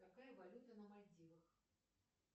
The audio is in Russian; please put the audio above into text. какая валюта на мальдивах